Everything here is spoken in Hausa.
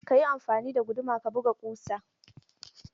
Ka yi amfani da guduma ka buga ƙusa!